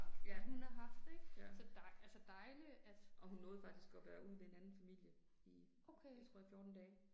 Ja. Ja. Og hun nåede faktisk at være ude ved en anden familie i jeg tror i 14 dage